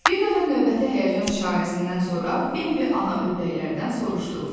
Bir dəfə növbəti həyəcan işarəsindən sonra Bembi ana ördəklərdən soruşdu.